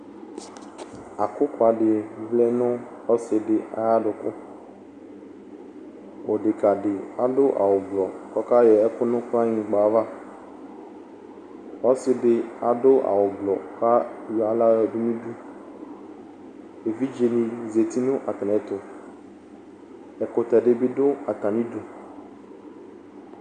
Akʋkʋa dɩ vlɛ nʋ ɔsɩ dɩ ayʋ adʋkʋ kʋ dekǝ dɩ adʋ awʋblɔ kʋ ɔkayɔ ɛkʋ nʋ kplɔanyɩgba ava Ɔsɩ dɩ adʋ awʋblɔ kʋ ayɔ aɣla yɔdʋ nʋ udu Evidzenɩ zati nʋ atamɩɛtʋ Ɛkʋtɛ dɩ bɩ dʋ atamɩdu